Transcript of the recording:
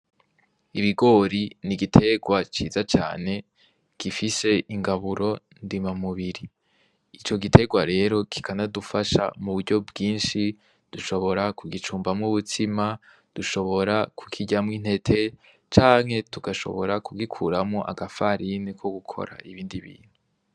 Ibigori n'igitegwa ciza cane gifise ingaburo ndemamubiri, ico gitegwa rero kikana dufasha mu buryo bwinshi dushobora ku gicumbamwo ubutsima dushobora kukiryamwo intete canke tugashobora kugikuramwo agafarini ko gukora ibindi bintu.